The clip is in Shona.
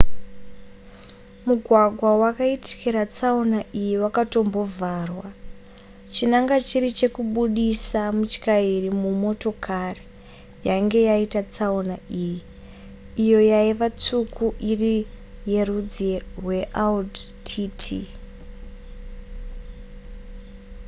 mugwagwa wakaitikira tsaona iyi wakatombovharwa chinangwa chiri chekubudisa mutyairi mumotokari yainge yaita tsaona iyi iyo yaiva tsvuku iri yerudzi rweaudi tt